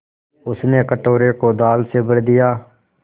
उसने कटोरे को दाल से भर दिया